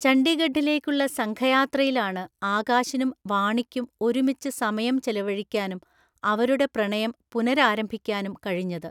ചണ്ഡീഗഢിലേക്കുള്ള സംഘയാത്രയിലാണ് ആകാശിനും വാണിക്കും ഒരുമിച്ച് സമയം ചെലവഴിക്കാനും അവരുടെ പ്രണയം പുനരാരംഭിക്കാനും കഴിഞ്ഞത്.